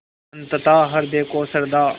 अनंतता हृदय को श्रद्धा